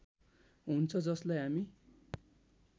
हुन्छ जसलाई हामी